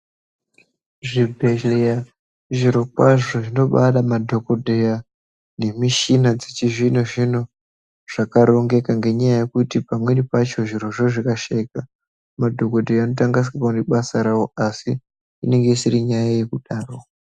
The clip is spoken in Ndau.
Zvibhehlera zvirokwazvo zvinobada madhokodheya nemishina dzechizvino-zvino zvakarongeka ngenyaya yekuti pamweni pacho zvirozvo zvikashaika madhokodheya anoita kunga asikakoni basa rawo asi inenge isiri nyaya yekudaro.